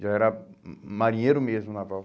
Já era hum marinheiro mesmo, naval.